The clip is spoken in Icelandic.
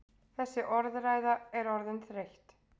Þessi orðræða er orðin þreytt!